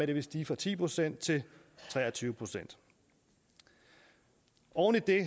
det vil stige fra ti procent til tre og tyve procent oven i det